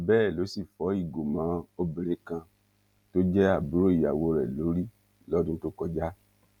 bẹẹ ló sì fọ ìgò mọ obìnrin kan tó jẹ àbúrò ìyàwó rẹ lórí lọdún tó kọjá